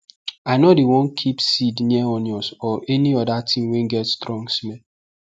i nor dey wan keep seed near onions or any other thing wey get strong smell